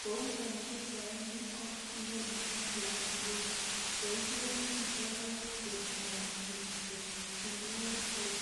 Ko en pichaini ko inoni ko klass room, koigeree kindo white board